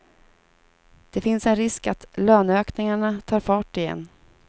Det finns en risk att löneökningarna tar fart igen.